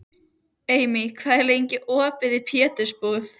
Amy, hvað er opið lengi í Pétursbúð?